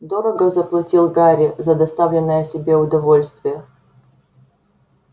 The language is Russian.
дорого заплатил гарри за доставленное себе удовольствие